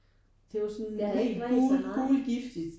Det var sådan helt gul gul giftigt